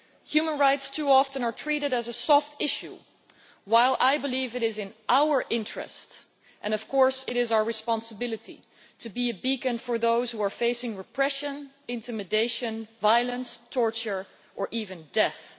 Human rights are too often treated as a soft issue while I believe it is in our interest, and of course it is our responsibility, to be a beacon for those who are facing repression, intimidation, violence, torture or even death.